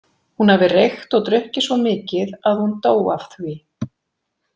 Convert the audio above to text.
Hún hafi reykt og drukkið svo mikið að hún dó af því.